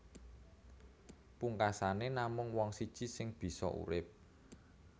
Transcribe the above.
Pungkasané namung wong siji sing bisa urip